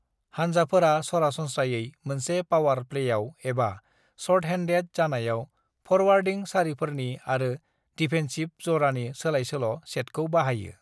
हानजाफोरा सरासनस्रायै मोनसे पावार प्लेयाव एबा शर्टहेन्डेड जानायाव फरवार्डिं सारिफोरनि आरो डिफेन्सिभ जरानि सोलायसोल' सेटखौ बाहायो।